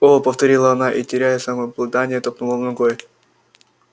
о повторила она и теряя самообладание топнула ногой